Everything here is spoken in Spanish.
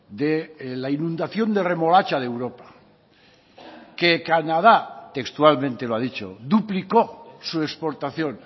de la inundación de remolacha de europa que canadá textualmente lo ha dicho duplicó su exportación